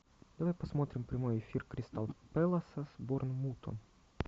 давай посмотрим прямой эфир кристал пэласа с борнмутом